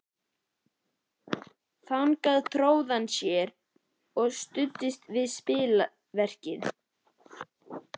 Þangað tróð hann sér og studdist við spilverkið.